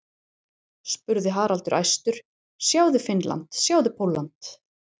spurði Haraldur æstur, sjáðu Finnland, sjáðu Pólland.